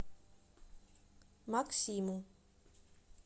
максиму